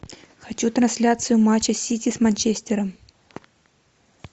хочу трансляцию матча сити с манчестером